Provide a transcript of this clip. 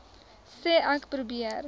sê ek probeer